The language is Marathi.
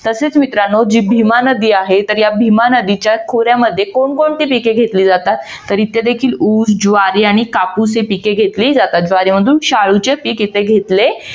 तसेच मित्रांनो जी भीमा नदी आहे तर या भीमा नदीच्या खोऱ्यामध्ये कोण कोणती पिके घेतली जातात तर इथे देखील ऊस ज्वारी आणि कापूस ही पिके घेतली जातात. ज्वारी मधून शाळुचे पीक इथे घेतले.